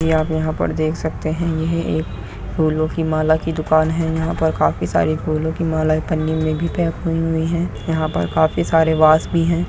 यहां पर जो देख सकते हैं यह एक फूलो की माला की दुकान है। यहां पर काफी सरे फूलो की मालाऐ पन्नी मे भी पैक हुईं हैं और काफी सरे वास भी है।